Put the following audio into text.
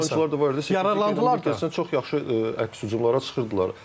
Yararlandılar çox yaxşı əks hücumlara çıxırdılar.